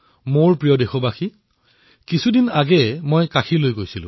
মোৰ মৰমৰ দেশবাসীসকল কিছুদিন পূৰ্বে মই কাশীলৈ গৈছিলো